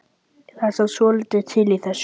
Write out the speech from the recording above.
Það er samt svolítið til í þessu.